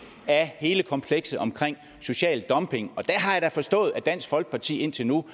af hele komplekset omkring social dumping der har jeg da forstået at dansk folkeparti indtil nu